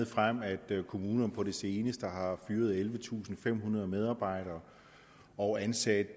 frem at kommunerne på det seneste har fyret ellevetusinde og femhundrede medarbejdere og ansat